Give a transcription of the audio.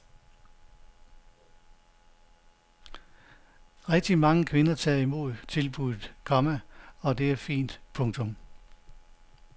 Rigtig mange kvinder tager imod tilbuddet, komma og det er fint. punktum